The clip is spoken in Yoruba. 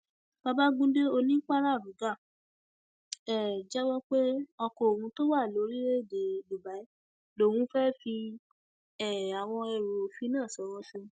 babagundé onípararóga um jẹwọ pé ọkọ òun tó wà lórílẹèdè dubai lòun fẹẹ fi um àwọn ẹrù òfin náà ṣòwò sí